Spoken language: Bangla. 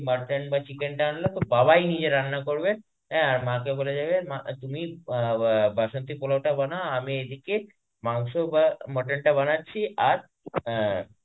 motton বা chicken টা আনলো তো বাবাই নিজে রান্না করবে আ আর মাকে বলে দেবে মা তুমি বা~ বাসন্তী পোলাওটা বানাও আমি এদিকে মাংস বা mottonটা বানাচ্ছি আর আ